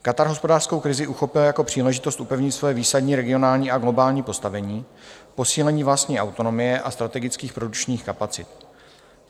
Katar hospodářskou krizi uchopil jako příležitost upevnit své výsadní regionální a globální postavení, posílení vlastní autonomie a strategických produkčních kapacit.